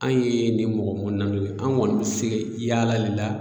Anw ye nin mɔgɔ kɔnɔna don an kɔni tɛ se yaala de la